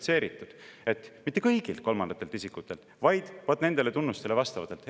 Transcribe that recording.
Kuidagipidi peaks olema kvalifitseeritud, et mitte kõigilt kolmandatelt isikutelt, vaid vaat nendele tunnustele vastavatelt.